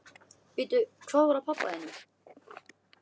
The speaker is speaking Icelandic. Bíddu, hvað var að pabba þínum?